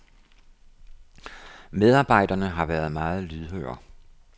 Medarbejderne har været meget lydhøre.